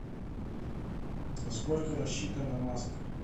на сколько рассчитана маска